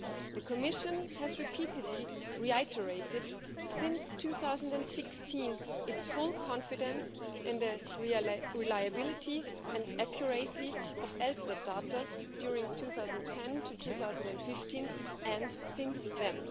The Commission has repeatedly reiterated since 2016 its full confidence in the reliability and accuracy of ELSTAT data from 2010 to 2015 and since then.